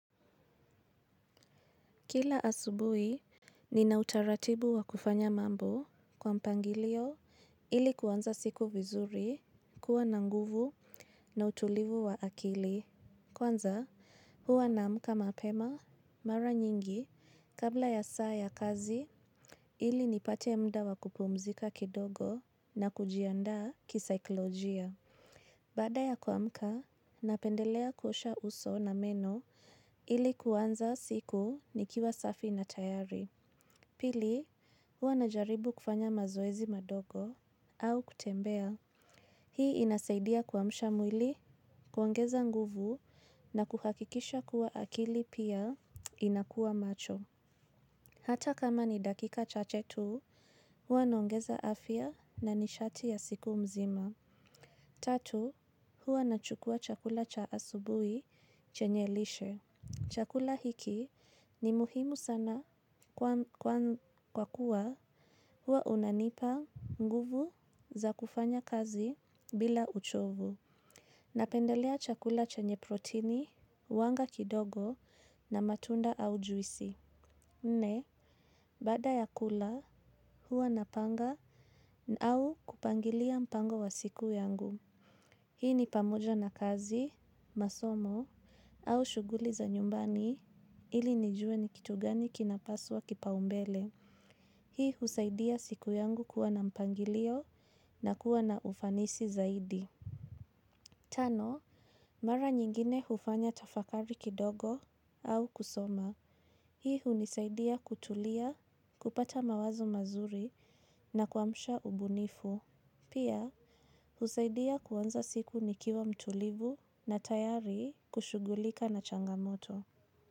Kila asubui, nina utaratibu wa kufanya mambo kwa mpangilio ili kuwanza siku vizuri kuwa nanguvu na utulivu wa akili. Kwanza, huwa namka mapema mara nyingi kabla ya saa ya kazi ili nipate mda wa kupumzika kidogo na kujianda kisaiklojia. Bada ya kuamka, napendelea kuosha uso na meno ili kuwanza siku nikiwa safi na tayari. Pili, hua najaribu kufanya mazoezi madogo au kutembea. Hii inasaidia kuwamshamwili kuongeza nguvu na kuhakikisha kuwa akili pia inakuwa macho. Hata kama ni dakika chache tu, hua naongeza afya na nishati ya siku mzima. Tatu, hua na chukua chakula cha asubui chenye lishe. Chakula hiki ni muhimu sana kwa kuwa huwa unanipa nguvu za kufanya kazi bila uchovu. Napendelea chakula chenye protini, uwanga kidogo na matunda au juisi. Nne, baada ya kula huwa napanga au kupangilia mpango wa siku yangu. Hii ni pamuja na kazi, masomo au shuguli za nyumbani ili nijue ni kitu gani kinapaswa kipaumbele. Hii husaidia siku yangu kuwa na mpangilio na kuwa na ufanisi zaidi. Tano, mara nyingine hufanya tafakari kidogo au kusoma. Hii hunisaidia kutulia, kupata mawazo mazuri na kwamsha ubunifu. Pia, husaidia kuanza siku nikiwa mtulivu na tayari kushugulika na changamoto.